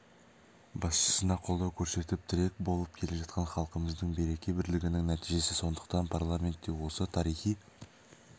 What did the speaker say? басшысына қолдау көрсетіп тірек болып келе жатқан халқымыздың береке бірлігінің нәтижесі сондықтан парламентте осы тарихи